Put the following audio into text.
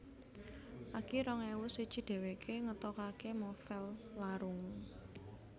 Akir rong ewu siji dhèwèké ngetokaké novèl Larung